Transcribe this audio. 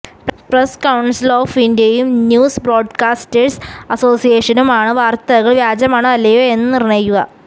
press council of ഇന്ത്യയും news broadcasters അസോസിയേഷനുമാണ് വാര്ത്തകള് വ്യാജമാണോ അല്ലെയോ എന്ന് നിര്ണയിക്കുക